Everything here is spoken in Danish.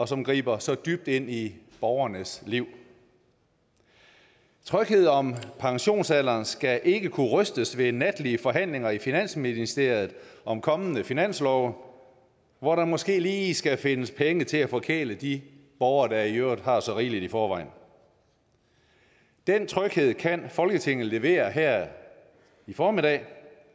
som griber så dybt ind i borgernes liv tryghed om pensionsalderen skal ikke kunne rystes ved natlige forhandlinger i finansministeriet om kommende finanslove hvor der måske lige skal findes penge til at forkæle de borgere der i øvrigt har så rigeligt i forvejen den tryghed kan folketinget levere her i formiddag